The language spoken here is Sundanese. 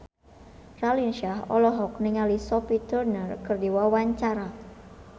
Raline Shah olohok ningali Sophie Turner keur diwawancara